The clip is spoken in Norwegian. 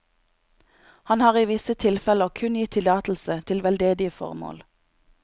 Han har i visse tilfeller kun gitt tillatelse til veldedige formål.